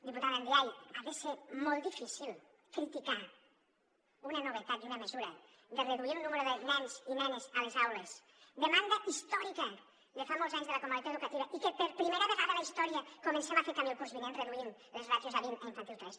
diputada ndiaye ha de ser molt difícil criticar una novetat i una mesura de reduir el nombre de nens i nenes a les aules demanda històrica de fa molts anys de la comunitat educativa i que per primera vegada a la història comencem a fer camí el curs vinent reduint les ràtios a vint a infantil tres